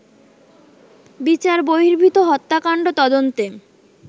বিচার বহির্ভূত হত্যাকাণ্ড তদন্তে